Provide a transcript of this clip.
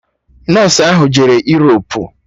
Nọsụ ahụ jere Europu